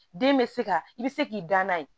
Den bɛ se ka i bɛ se k'i da n'a ye